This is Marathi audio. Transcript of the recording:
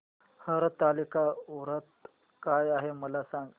हरतालिका व्रत काय आहे मला सांग